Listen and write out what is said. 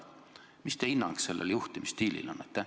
Milline on teie hinnang sellisele juhtimisstiilile?